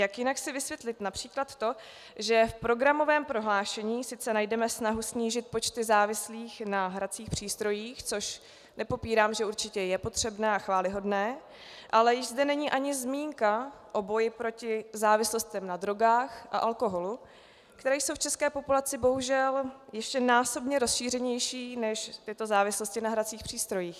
Jak jinak si vysvětlit například to, že v programovém prohlášení sice najdeme snahu snížit počty závislých na hracích přístrojích, což nepopírám, že určitě je potřebné a chvályhodné, ale již zde není ani zmínka o boji proti závislostem na drogách a alkoholu, které jsou v české populaci bohužel ještě násobně rozšířenější než tyto závislosti na hracích přístrojích.